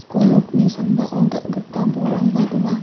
skul nokni sambao dal·gipa bolrangba donga.